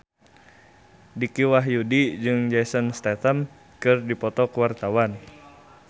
Dicky Wahyudi jeung Jason Statham keur dipoto ku wartawan